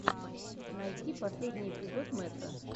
найти последний эпизод мэтро